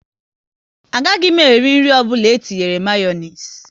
A gaghị m eri nri ọbụla etinyere Mayonezi